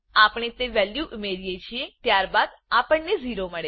આપણે તે વેલ્યુ ઉમીએ છીએ ત્યારબાદ આપણને 0 મળશે